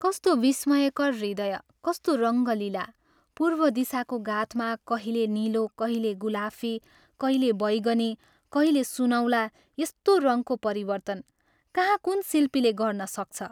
कस्तो विस्मयकर हृदय कस्तो रङ्गलीला पूर्व दिशाको गाथमा कहिले नीलो, कहिले गुलाफी, कहिले बैगनी, कहिले सुनौला यस्तो रङ्गको परिवर्तन, कहाँ कुन् शिल्पीले गर्न सक्छ?